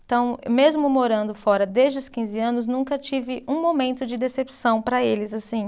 Então, mesmo morando fora desde os quinze anos, nunca tive um momento de decepção para eles, assim.